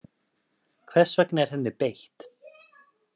Hvers vegna er henni beitt?